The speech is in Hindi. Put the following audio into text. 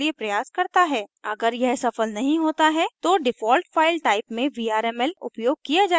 अगर यह सफल नहीं होता है तो default file type में vrml उपयोग किया जायेगा